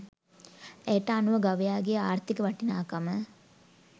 ඇයට අනුව ගවයාගේ ආර්ථික වටිනාකම